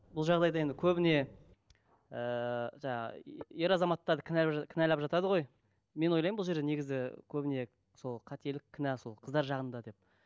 бұл жағдайда енді көбіне ііі жаңа ер азаматтарды кінәлап кінәлап жатады ғой мен ойлаймын бұл жерде негізі көбіне сол қателік кінә сол қыздар жағында деп